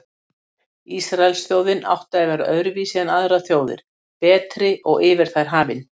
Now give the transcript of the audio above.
Ísraelsþjóðin átti að vera öðruvísi en aðrar þjóðir, betri og yfir þær hafin.